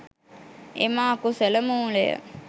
එම අකුසල මූලය